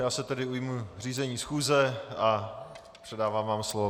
Já se tedy ujmu řízení schůze a předávám vám slovo.